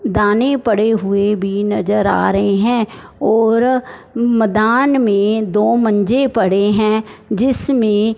दाने पड़े हुए भी नजर आ रहे हैं और मदान में दो मंजे पड़े हैं जिसमें--